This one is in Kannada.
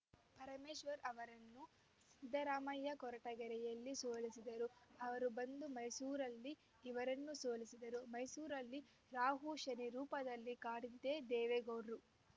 ಪರಮೇಶ್ವರ್ ಅವರನ್ನು ಸಿದ್ದರಾಮಯ್ಯ ಕೊರಟಗೆರೆಯಲ್ಲಿ ಸೋಲಿಸಿದರು ಅವರು ಬಂದು ಮೈಸೂರಲ್ಲಿ ಇವರನ್ನು ಸೋಲಿಸಿದರು ಮೈಸೂರಲ್ಲಿ ರಾಹು ಶನಿ ರೂಪದಲ್ಲಿ ಕಾಡಿದ್ದೇ ದೇವೇಗೌಡ್ರು